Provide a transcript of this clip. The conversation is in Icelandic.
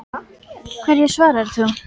Hverju svarar þú?